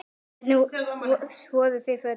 Hvernig þvoum við fötin?